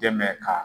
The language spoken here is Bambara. Dɛmɛ kaa